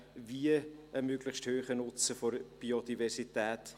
Wie einen möglichst hohen Nutzen der Biodiversität?